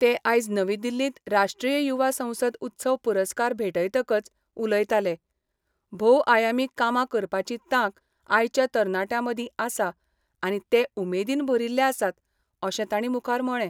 ते आयज नवी दिल्लींत राष्ट्रीय युवा संसद उत्सव पुरस्कार भेटयतकच उलयताले भोवआयामी कामां करपाची तांक आयच्या तरणाट्यां मदीं आसा आनी ते उमेदीन भरिल्ले आसात अशें तांणी मुखार म्हळें.